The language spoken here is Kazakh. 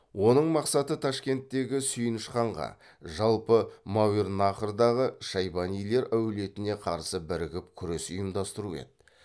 оның мақсаты ташкенттегі сүйініш ханға жалпы мәуернахрдағы шайбанилар әулетіне қарсы бірігіп күрес ұйымдастыру еді